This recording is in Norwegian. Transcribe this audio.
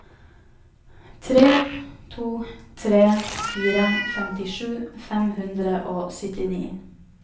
tre to tre fire femtisju fem hundre og syttini